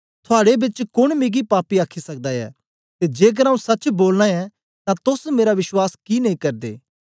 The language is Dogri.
थुआड़े बिचा कोन मिगी पापी आखी सकदा ऐ ते जेकर आऊँ सच्च बोलना ऐं तां तोस मेरा विश्वास कि नेई करदे